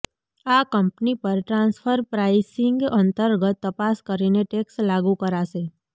આ કંપની પર transfer pricing અંતર્ગત તપાસ કરીને ટેક્સ લાગુ કરાશે